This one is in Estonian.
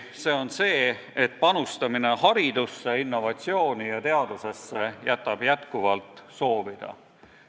See on tõsiasi, et panustamine haridusse, innovatsiooni ja teadusesse jätab endiselt soovida.